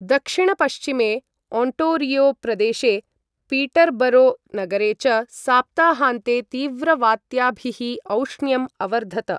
दक्षिणपश्चिमे Ontario प्रदेशे, Peterborough नगरे च सप्ताहान्ते तीव्रवात्याभिः औष्ण्यम् अवर्धत।